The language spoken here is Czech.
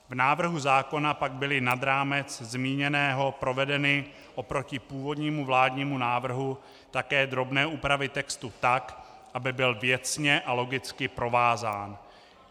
V návrhu zákona pak byly nad rámec zmíněného provedeny oproti původnímu vládnímu návrhu také drobné úpravy textu, tak aby byl věcně a logicky provázán.